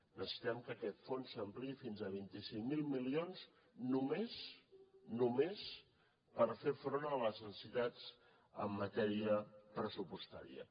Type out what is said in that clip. necessitem que aquest fons s’ampliï fins a vint cinc mil milions només per fer front a les necessitats en matèria pressupostària